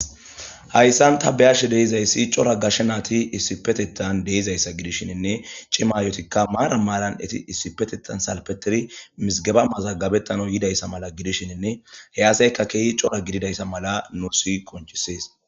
Hayssan ta beyashe deizayssi cora gashe naati issipetetan deizayssa gidishshiinne cimayotikka maara maalan eti issipetetan salpeteri misigaba mazaggabettano yidayssa mala gidishininne heyaseykka keehi cora gididayssa mala nursi qonchisees.